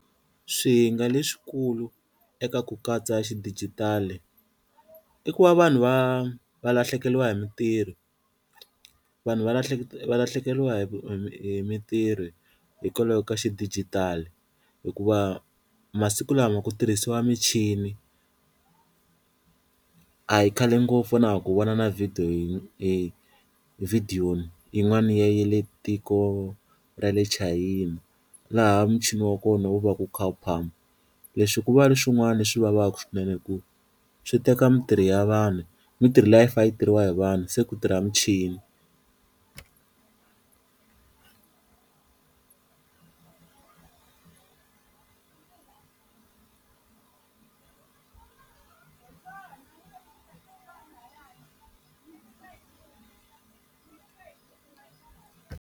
Swihinga leswikulu eka ku katsa xidigitali i ku va vanhu va va lahlekeliwa hi mintirho, vanhu va va lahlekeriwa hi hi mintirho hikwalaho ka xidijitali hikuva masiku lama ku tirhisiwa michini a hi khale ngopfu na ha ku vona na video video yin'wana ya le tiko ra le Chayina, laha muchini wa kona wu va ku wu kha wu phama leswi kuva leswin'wana leswi vavaka swinene hi ku swi teka mintirho ya vanhu mintirho liya a yi fe yi tirhiwa hi vanhu se ku tirha michini.